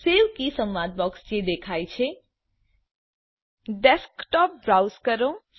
સેવ sync key સંવાદ બૉક્સમાં જે દેખાય છે ડેસ્કટોપ બ્રાઉઝ કરો